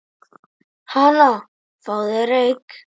Hana, fáðu þér reyk